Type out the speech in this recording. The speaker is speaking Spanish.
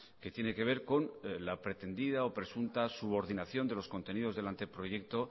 que tiene que ver con la pretendida o presunta subordinación de los contenidos del anteproyecto